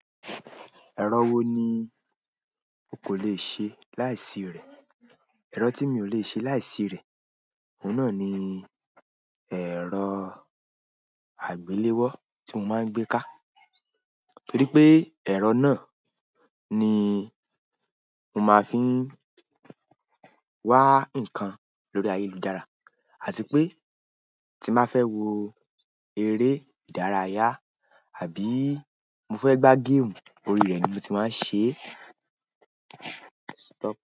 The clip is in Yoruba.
Ẹ̀rọ wo ni o kò lè ṣe láìsí rẹ̀? Ẹrọ tí mio lè ṣe láì sí rẹ òun náà ni ẹrọ àgbéléwọ tí mo máa ń gbé ká. Nítorí pé ẹ̀rọ náà ni mo máa ń fi wan ǹkan lórí ayélujára. Àti pé tín bá fẹ wo eré ìdárayá àbí mo fé gba game, orí rẹ ni moti máa ń ṣe.